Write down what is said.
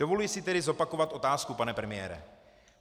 Dovoluji si tedy zopakovat otázku, pane premiére.